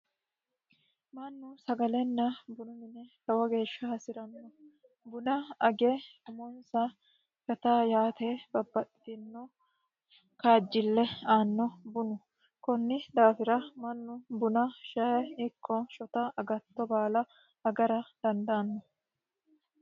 mannu sagalenna bunu mine lowo geeshsha hasi'ranno buna age umonsa fataa yaate babbaxxino kaajjille aanno bunu kunni daafira mannu buna shae ikko shota agatto baala agara dandaanno